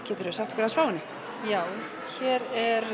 geturðu sagt okkur frá henni já hér er